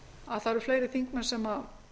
að það eru fleiri þingmenn sem